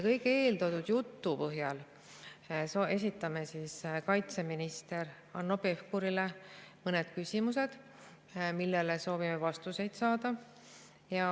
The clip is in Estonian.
Eeltoodud jutu põhjal esitame kaitseminister Hanno Pevkurile mõned küsimused, millele soovime vastuseid saada.